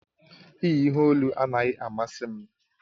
Iyi ihe olu anaghị amasị m.